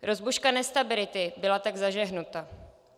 Rozbuška nestability byla tak zažehnuta.